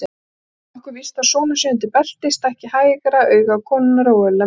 Einnig er nokkuð víst að sonur sé undir belti, stækki hægra auga konunnar óeðlilega mikið.